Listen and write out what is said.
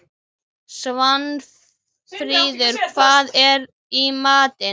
Svanfríður, hvað er í matinn?